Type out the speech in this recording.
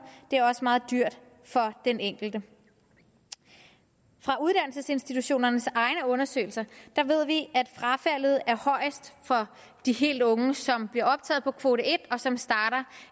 det er også meget dyrt for den enkelte fra uddannelsesinstitutionernes egne undersøgelser ved vi at frafaldet er højst for de helt unge som bliver optaget på kvote en og som starter